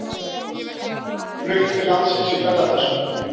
Flutt til landsins í ferðatösku